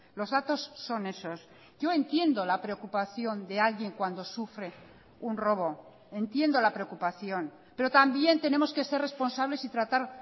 los datos son esos yo entiendo la preocupación de alguien cuando sufre un robo entiendo la preocupación pero también tenemos que ser responsables y tratar